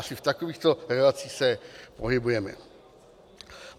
Asi v takovýchto relacích se pohybujeme.